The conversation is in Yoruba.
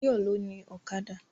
Báyọ̀ ló ni Ọ̀kadà